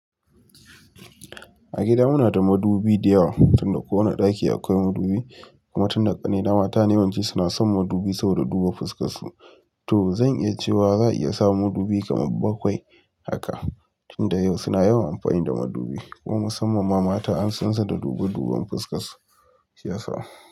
A gida muna da madubi diyawa tunda kowa nada daki akwai madubi kuma tunda kannina mata ne yawanci suna son madubi saboda duba fuskar su. To zan iya cewa za'a iya samun madubi kamar bakwai haka tunda yau suna yawan amfani da madubi kuma musamman ma mata an sansu da dube duben fuskar su shiyasa.